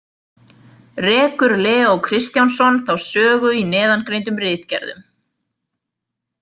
Rekur Leó Kristjánsson þá sögu í neðangreindum ritgerðum.